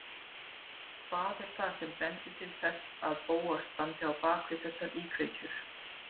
Hvað er það sem bendir til að Bóas standi á bak við þessar íkveikjur?